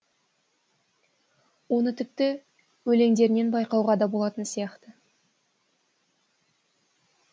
оны тіпті өлеңдерінен байқауға да болатын сияқты